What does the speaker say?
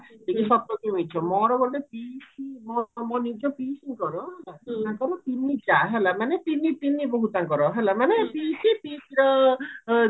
କି ସତ କି ମିଛ ମୋର ଗୋଟେ ପିସୀ ଘର ମୋ ନିଜ ପିସୀଙ୍କର ହେଲା ତାଙ୍କର ତିନି ଯାଆ ହେଲା ମାନେ ତିନି ବୋହୁ ତାଙ୍କର ହେଲା ମାନେ ପିସୀ ପିସୀର